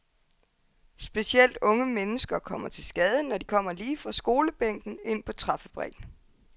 Specielt unge mennesker kommer til skade, når de kommer lige fra skolebænken ind på træfabrikken.